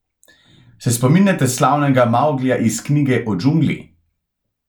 Se spominjate slavnega Mavglija iz Knjige o džungli?